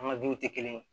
An ka duw tɛ kelen ye